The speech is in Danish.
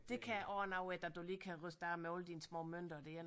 Det kan også noget ik at du lige kan ryste af med alle dine små mønter der